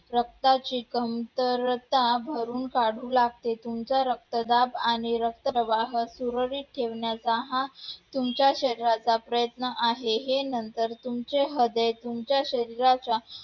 रक्ताची कमतरता भरून काढू लागते. तुमचा रक्तदाब आणि रक्तप्रवाह सुरळीत ठेवण्याचा हा तुमच्या शरीराचा प्रयत्न आहे, हे नंतर तुमचे तुमच्या शरीराच्या